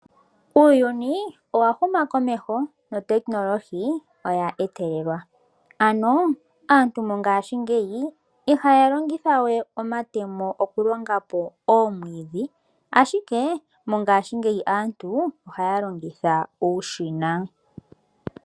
Uuyuni owa huma komeho notekinolohi oya etelelwa, ano aantu mongashingeyi ihaya longitha we omatemo okulonga po oomwiidhi, ashike mongashingeyi aantu ohaya longitha uushina.